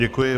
Děkuji.